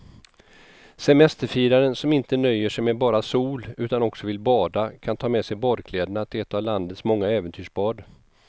Semesterfiraren som inte nöjer sig med bara sol utan också vill bada kan ta med sig badkläderna till ett av landets många äventyrsbad.